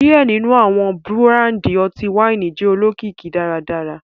Diẹ ninu awọn burandi ọti-waini jẹ olokiki daradara